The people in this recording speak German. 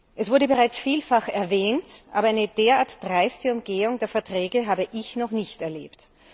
Es wurde bereits vielfach erwähnt, aber eine derart dreiste Umgehung der Verträge habe ich noch nicht erlebt.